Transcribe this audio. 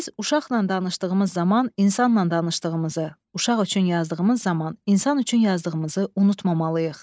Biz uşaqla danışdığımız zaman insanla danışdığımızı, uşaq üçün yazdığımız zaman insan üçün yazdığımızı unutmamalıyıq.